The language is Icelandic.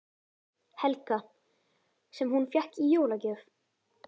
Helga: Sem hún fékk í jólagjöf?